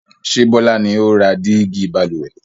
Ṣé Bọlá ni ó ra dígí Balùwẹ̀?